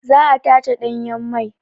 Za a tace ɗanyen mai.